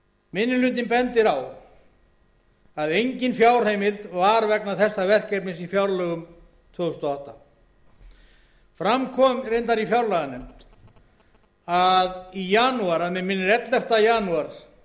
minni hlutinn bendir á að engin fjárheimild var vegna þessa verkefnis í fjárlögum tvö þúsund og átta fram kom reyndar í fjárlaganefnd í janúar síðastliðnum að mig minnir ellefta janúar